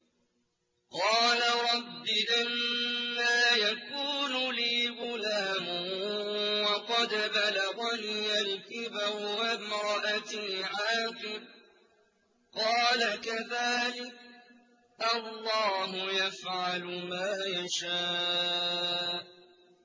قَالَ رَبِّ أَنَّىٰ يَكُونُ لِي غُلَامٌ وَقَدْ بَلَغَنِيَ الْكِبَرُ وَامْرَأَتِي عَاقِرٌ ۖ قَالَ كَذَٰلِكَ اللَّهُ يَفْعَلُ مَا يَشَاءُ